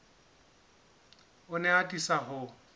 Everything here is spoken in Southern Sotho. o ne a atisa ho